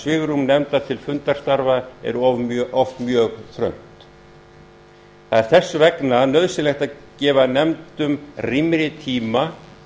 svigrúm nefnda til fundastarfa er oft mjög þröngt það er þess vegna nauðsynlegt að gefa nefndum rýmri tíma